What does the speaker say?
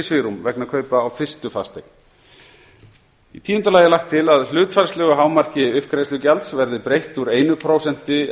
svigrúm vegna kaupa á fyrstu fasteign tíu lagt er til að hlutfallslegu hámarki uppgreiðslugjalds verði breytt úr einu prósenti